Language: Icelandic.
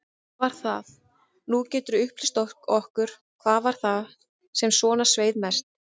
Hvað var það, nú geturðu upplýst okkur, hvað var það sem svona sveið mest?